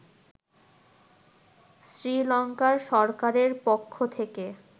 শ্রীলংকার সরকারের পক্ষ থেকে